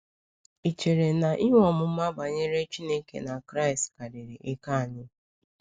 Ị̀ chere na inwe ọmụma banyere Chineke na Kraịst karịrị ike anyị?